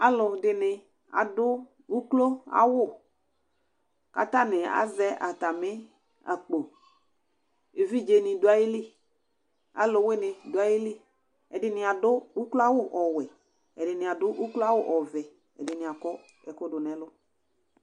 Alʊ ɛdɩnɩ adʊ ʊkloawʊ katanɩ azɛ atamɩ akpo Evɩdze nɩ dʊ ayɩlɩ, alʊwɩnɩ dʊ ayɩlɩ Ɛdɩnɩ adʊ ukloawʊ ɔwɛ Ɛdinɩ adʊ ukloawʊ ɔvɛ Ɛdɩnɩ akɔ ɛkʊ dʊ nʊ 3lʊ